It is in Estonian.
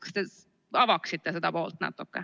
Kas te avaksite seda poolt natuke?